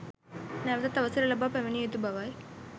නැවතත් අවසර ලබා පැමිණිය යුතු බව ය.